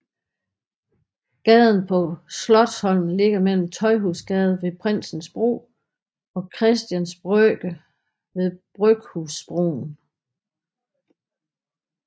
Gaden på Slotsholmen ligger mellem Tøjhusgade ved Prinsens Bro og Christians Brygge ved Bryghusbroen